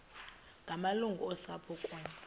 ngamalungu osapho kunye